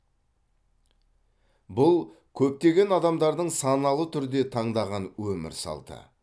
бұл көптеген адамдардың саналы түрде таңдаған өмір салты